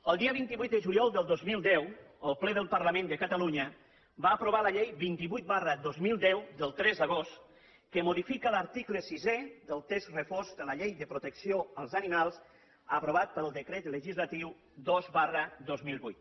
el dia vint vuit de juliol del dos mil deu el ple del parlament de catalunya va aprovar la llei vint vuit dos mil deu del tres d’agost que modifica l’article sisè del text refós de la llei de protecció dels animals aprovat pel decret legislatiu dos dos mil vuit